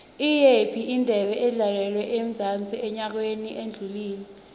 iyiphi indebe edlalelwe emzansi enyakeni odlule